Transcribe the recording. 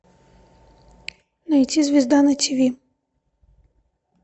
найти звезда на тв